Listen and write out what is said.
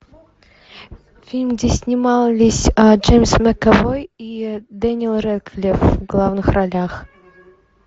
фильм где снимались джеймс макэвой и дэниел рэдклифф в главных ролях